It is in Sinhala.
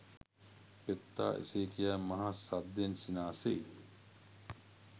පෙත්තා එසේ කියා මහ සද්දෙන් සිනාසෙයි.